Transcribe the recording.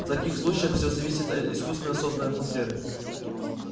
в таких случаях все зависит от искусственно созданной атмосферы